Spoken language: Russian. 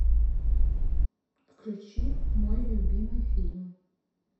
включи мой любимый фильм